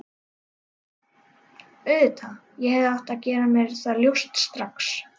Auðvitað, ég hefði átt að gera mér það ljóst strax.